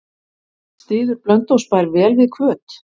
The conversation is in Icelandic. Styður Blönduósbær vel við Hvöt?